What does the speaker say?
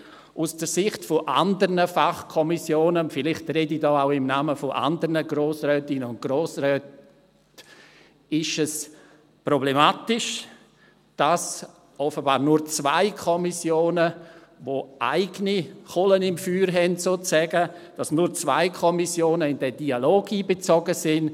Aus der Sicht anderer Fachkommissionen – vielleicht spreche ich diesbezüglich auch im Namen anderer Grossrätinnen und Grossräte – ist es problematisch, dass offenbar nur zwei Kommissionen, die sozusagen eigene Kohlen im Feuer haben, in diesen Dialog einbezogen sind.